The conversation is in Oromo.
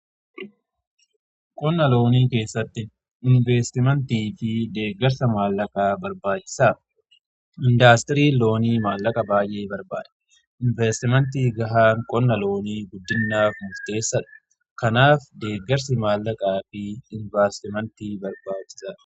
Qonna loonii keessatti inveestimentii fi deeggarsa maallaqaa barbaachisa. Indaastirii loonii maallaqa baay'ee barbaada. Inveestimentii gahaan qonna loonii guddisuuf murteessaadha. Kanaaf, deeggarsi maallaqaa fi inveestimentii barbaachisaadha.